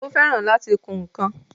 Ó fẹ́ràn láti kun ǹkan